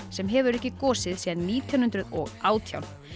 sem hefur ekki gosið síðan nítján hundruð og átján